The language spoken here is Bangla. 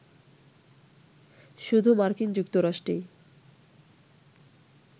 শুধু মার্কিন যুক্তরাষ্ট্রেই